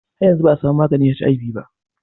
Har yanzu ba a samu maganin HIV ba